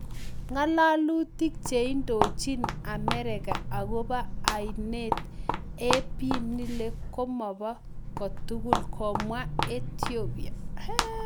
Ng'alalutik cheindochin Amerika akopo ainet AP Nile komopaa kotugul ...komwaa etiopia